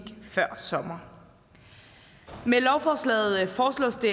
før sommeren med lovforslaget foreslås det